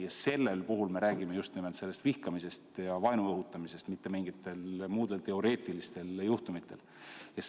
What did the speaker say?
Just nimel selliste olukordade puhul me räägime vihkamise ja vaenu õhutamisest, mitte mingite muude teoreetiliste juhtumite puhul.